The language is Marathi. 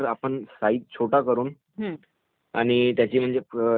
आणि त्याची हे जी किंमत आहे ती कमी करुन